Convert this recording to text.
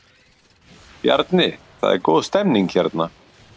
Bjarni, það er góð stemning hérna?